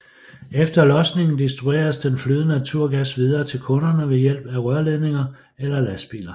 Efter losningen distribueres den flydende naturgas videre til kunderne ved hjælp af rørledninger eller lastbiler